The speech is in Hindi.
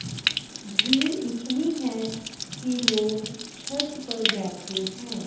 भीड़ इतनी है कि लोग छत पर बैठे हैं।